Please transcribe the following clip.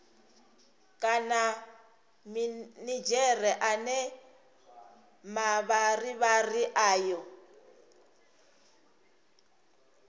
kana minidzhere ane mavharivhari ayo